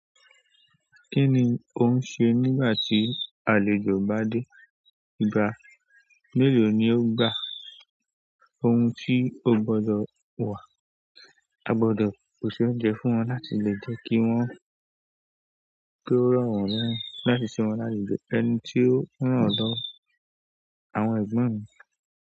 Kí ni ò ń ṣe nígbà tí àlejò bá dé? Ìgbà mélòó ni ó gbà? Ohun tí o gbọdọ̀ wà, a gbọdọ̀ pè ṣe oúnjẹ fún wọn láti lè jẹ́ kí wọ́n, kí ó ro wọ́n lẹ́rù láti ṣe wọn láti jẹ ẹni tí ó rán dọ̀ àwọn ẹgbọn mí.